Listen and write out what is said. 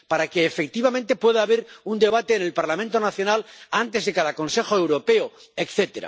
para que, efectivamente, pueda haber un debate en el Parlamento nacional antes de cada Consejo Europeo, etc.